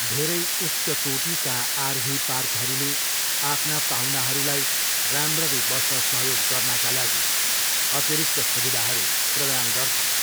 धेरै उच्चकोटीका आरभी पार्कहरूले आफ्ना पाहुनाहरूलाई राम्ररी बस्न सहयोग गर्नाका लागि अतिरिक्त सुविधाहरू प्रदान गर्छन्।